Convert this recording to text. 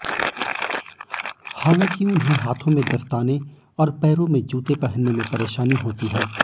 हालांकि उन्हें हाथों में दस्ताने और पैरों में जूते पहनने में परेशानी होती है